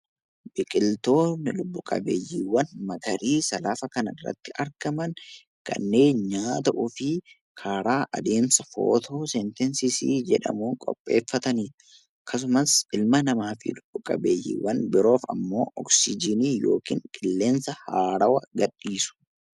Biqiltoonni lubbu qabeeyyiiwwan magariisa laga kana irratti argaman kanneen nyaata ofii karaa adeemsa footoosenteesisii jedhamuun qopheeffatani dha. Akkasumas ilma namaatiif lubbu qabeeyyiiwwan birootiif ammoo oksijiinii yookiin qilleensa haarawaa gadhiisu.